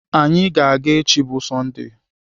Anyị ga-aga echi bụ Sọndee.